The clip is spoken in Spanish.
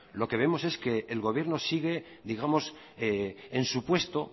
lo que vemos es que el gobierno sigue digamos en su puesto